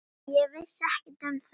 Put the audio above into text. Ég vissi ekkert um það.